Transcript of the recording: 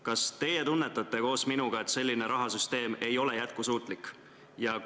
Kas teie tunnetate koos minuga, et selline rahasüsteem ei ole jätkusuutlik?